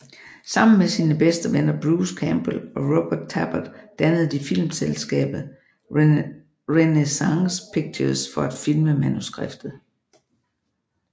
Sammen med sine bedste venner Bruce Campbell og Robert Tapert dannede de filmselskabet Renaissance Pictures for at filme manuskriptet